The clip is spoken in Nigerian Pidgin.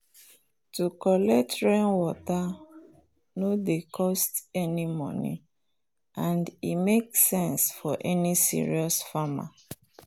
to collect rainwater no dey cost any money and e make sense for any serious farmer.